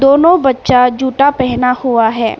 दोनों बच्चा जूता पहना हुआ है।